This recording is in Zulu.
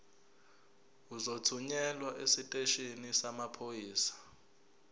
uzothunyelwa esiteshini samaphoyisa